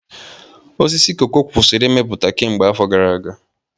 Osisi koko kwụsịrị ịmịpụta kemgbe afọ gara aga.